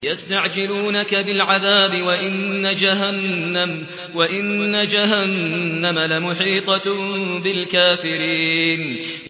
يَسْتَعْجِلُونَكَ بِالْعَذَابِ وَإِنَّ جَهَنَّمَ لَمُحِيطَةٌ بِالْكَافِرِينَ